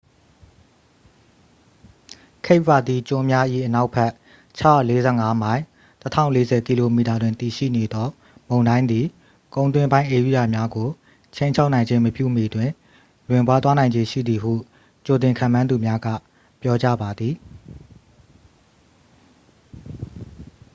cape verde ကျွန်းများ၏အနောက်ဘက် ၆၄၅ မိုင် ၁၀၄၀ km တွင်တည်ရှိနေသောမုန်တိုင်းသည် ကုန်းတွင်းပိုင်းဧရိယာများကို ခြိမ်းခြောက်နိုင်ခြင်းမပြုမီတွင် လွင့်ပါးသွားနိုင်ခြေရှိသည်ဟု ကြိုတင်ခန့်မှန်းသူများက ပြောကြားပါသည်။